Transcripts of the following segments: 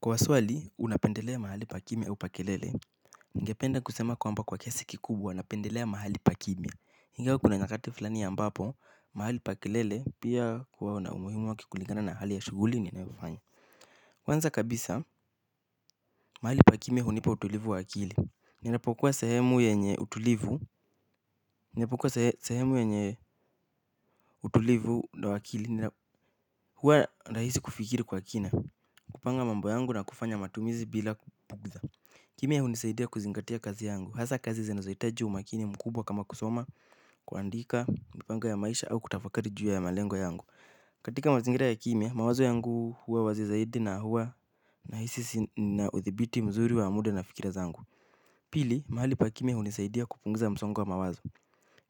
Kwa swali, unapendelea mahali pa kimya au pa kelele. Ningependa kusema kwamba kwa kiasi kikubwa, napendelea mahali pakimya ingawa kuna nyakati fulani ambapo, mahali pa kelele pia huwa na umuhimu wake kulingana na hali ya shughuli ninaifanya. Kwanza kabisa, mahali pakimya hunipa utulivu wa akili. Ninapokuwa sehemu yenye utulivu wa akili. Huwa ni rahisi kufikiri kwa kina. Kupanga mambo yangu na kufanya matumizi bila bugha. Kimya hunisaidia kuzingatia kazi yangu, hasa kazi zinazohitaji umakini mkubwa kama kusoma, kuandika, kupanga ya maisha au kutafakari juu ya malengo yangu. Katika mazingira ya kimya, mawazo yangu huwa wazi zaidi na huwa nahisi nina udhibiti mzuri wa muda na fikira zangu. Pili, mahali pa kimya hunisaidia kupunguza msongo wa mawazo.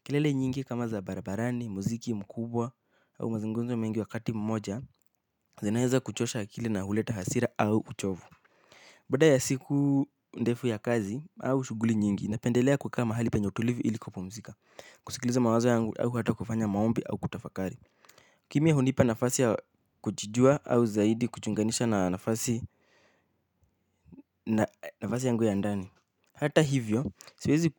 Kelele nyingi kama za barabarani, muziki mkubwa au mazungumzo mengi wakati mmoja, zinaweza kuchosha akili na huleta hasira au uchovu. Baada ya siku ndefu ya kazi, au shughuli nyingi, napendelea kukaa mahali penye utulivu ili kupumzika. Kusikiliza mawazo yangu, au hata kufanya maombi, au kutafakari. Kimya hunipa nafasi ya kujijua, au zaidi kujiunganisha na nafasi yangu ya ndani. Hata hivyo, siwezi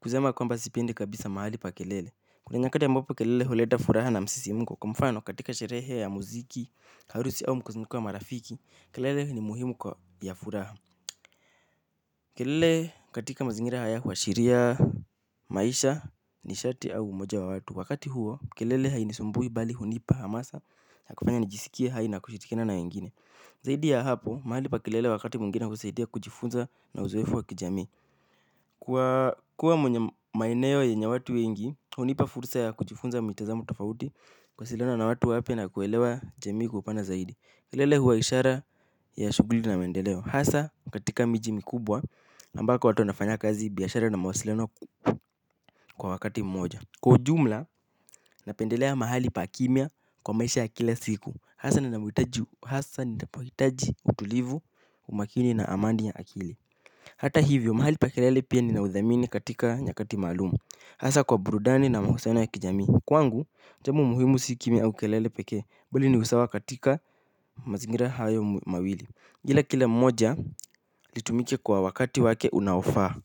kusema kwamba sipiendi kabisa mahali pa kelele. Kuna nyakati ambapo kelele huleta furaha na msisimko. Kwa mfano katika sherehe ya muziki, harusi au mkusanyiko wa marafiki, kelele ni muhimu kwa ya furaha. Kelele katika mazingira haya huashiria maisha, nishati au umoja wa watu. Wakati huo, kelele hainisumbui bali hunipa hamasa. Nakufanya nijisikie hai na kushirikiana na wengine. Zaidi ya hapo, mahali pa kelele wakati mwingine husaidia kujifunza na uzoefu wa kijami. Kuwa kwenye maeneo yenye watu wengi, hunipa fursa ya kujifunza mitazamo tofauti. Kuwasiliana na watu wapya na kuelewa jamii kwa upana zaidi. Kelele huwa ishara ya shughuli na mendeleo hasa katika miji mikubwa na ambako watu wanafanya kazi biashara na mawasiliano kwa wakati mmoja kwa ujumla napendelea mahali pa kimya kwa maisha ya kila siku hasa ninapohitaji utulivu umakini na amani ya akili. Hata hivyo mahali pa kelele pia ninaudhamini katika nyakati maalumu hasa kwa burudani na mahusiano ya kijamii kwangu jambo muhimu si kimya au kelele pekee bali ni usawa katika mazingira hayo mawili ila kile moja litumike kwa wakati wake unaofa.